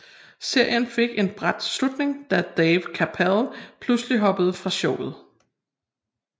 Serien fik en brat slutning da Dave Chapelle pludselig hoppede fra showet